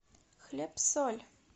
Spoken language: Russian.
хлеб соль